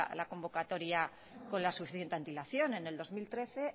la convocatoria con la suficiente antelación en el dos mil trece